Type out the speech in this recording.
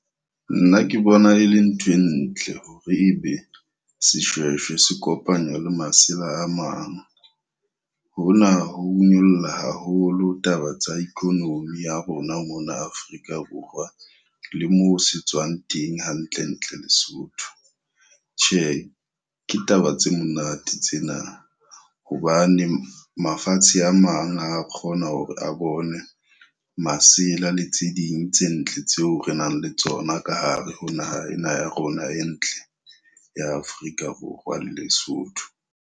Nna ke bona e le ntho e ntle hore ebe seshweshwe se kopanywa le masela a mang. Hona ho nyolla haholo taba tsa economy ya rona mona Afrika Borwa, le moo se tswang teng hantlentle Lesotho. Tjhe, ke taba tse monate tsena hobane mafatshe a mang a kgona hore a bone masela le tse ding tse ntle tseo re nang le tsona ka hare ho naha ena ya rona e ntle ya Afrika Borwa le Lesotho.